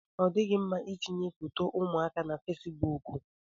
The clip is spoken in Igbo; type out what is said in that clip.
Ọ dịghị mma itinye foto ụmụaka na fesbụụk.